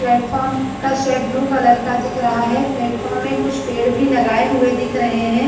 Platform shed blue colour का दिख रहा है प्लेटफार्म में कुछ पेड़ भी लगाए हुए दिख रहे हैं।